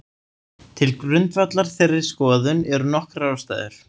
Til grundvallar þeirri skoðun eru nokkrar ástæður.